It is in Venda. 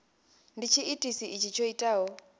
ndi tshiitisi itshi tsho itaho